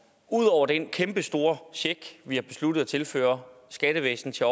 ud over den kæmpestore check vi har besluttet at tilføre skattevæsenet til